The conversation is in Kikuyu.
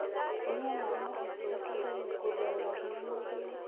Kũnyua mae mahehũ gũteĩthagĩa kũongerera hinya mwĩrĩĩnĩ